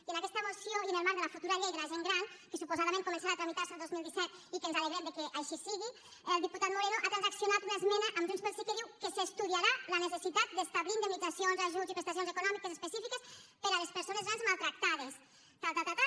i en aquesta moció i en el marc de la futura llei de la gent gran que suposadament començarà a tramitar se el dos mil disset i que ens alegrem que així sigui el diputat moreno ha transaccionat una esmena amb junts pel sí que diu que s’estudiarà la necessitat d’establir indemnitzacions ajuts i prestacions econòmiques específiques per a les persones grans maltractades tal tal tal